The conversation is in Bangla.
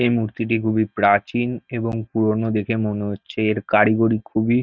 এই মূর্তিটি খুবই প্রাচীন এবং পুরনো দেখে মনে হচ্ছে এর কারিগরি খুবই --